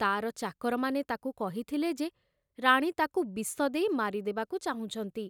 ତାର ଚାକରମାନେ ତାକୁ କହିଥିଲେ ଯେ ରାଣୀ ତାକୁ ବିଷ ଦେଇ ମାରିଦେବାକୁ ଚାହୁଁଛନ୍ତି।